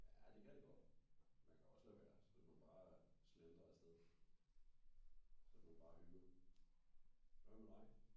Ja det kan det godt. Man kan også lade være og så kan man bare slentre afsted. Så kan man bare hygge. Hvad med dig?